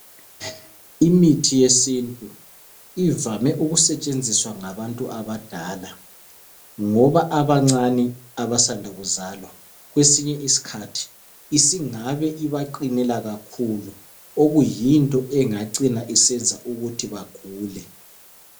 Imithi yesintu ivame okusetshenziswa ngabantu abadala ngoba abancane abasanda kuzalwa kwesinye isikhathi singabe ibaqinela kakhulu okuyinto engacina isenza bagule .